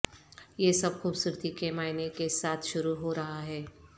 یہ سب خوبصورتی کے معائنہ کے ساتھ شروع ہو رہا ہے